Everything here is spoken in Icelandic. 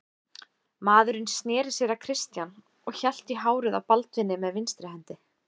Maðurinn sneri sér að Christian og hélt í hárið á Baldvini með vinstri hendi.